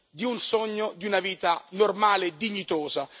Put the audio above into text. di un sogno e di una vita normale e dignitosa.